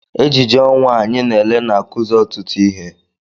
Ejije ọnwa a anyị na-ele na-akụzi ọtụtụ ihe.